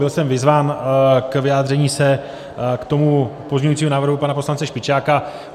Byl jsem vyzván k vyjádření se k tomu pozměňujícímu návrhu pana poslance Špičáka.